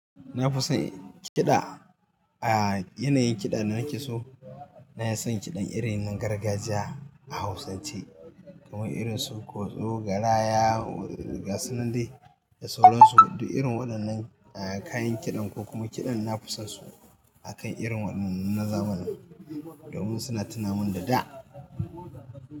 Na fi son kiɗa, a yanayin kiɗa da na ke so na fi son kiɗan irin na gargajiya, a Hausance, kamar irin su kotso, garaya, gasunan dai da sauran su. Duk irin waɗannan kayan kiɗan ko kuma kiɗan na fi son su, akan irin waɗannan na zamanin, domin suna tunamin da da.